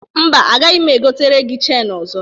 Mba, agaghị egotere gi cheni ọzọ.